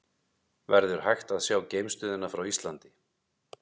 Verður hægt að sjá geimstöðina frá Íslandi?